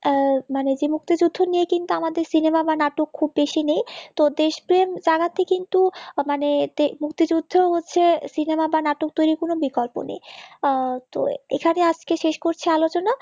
আহ মানে যে মুক্তিযোদ্ধা নিয়ে কিন্তু আমাদের cinema বা নাটক খুব বেশি নেই তো দেশ প্রেম জাগাতে কিন্তু মানে মুক্তিযুদ্ধ হচ্ছে cinema বা নাটক তৈরির কোন বিকল্প নেই তো এখানেই আজকে শেষ করছি আলোচনা